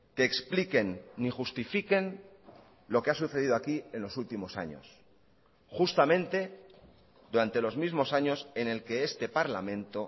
que expliquen ni justifiquen lo que ha sucedido aquí en los últimos años justamente durante los mismos años en el que este parlamento